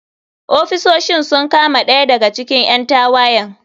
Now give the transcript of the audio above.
Ofisoshin sun kama ɗaya daga cikin ƴan tawayen.